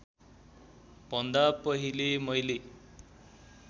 भन्दा पहिले मैले